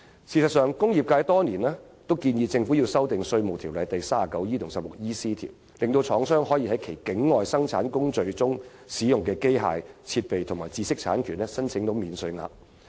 事實上，工業界多年來建議政府修訂《稅務條例》第 39E 及 16EC 條，令廠商可就其境外生產工序中使用的機械設備及知識產權申請免稅額。